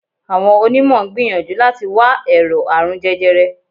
Àwọn onímọ̀ ń gbìyànjú láti wá ẹ̀rọ̀ àrùn jẹjẹrẹ